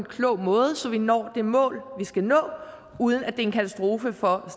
klog måde så vi når det mål vi skal nå uden at det er en katastrofe for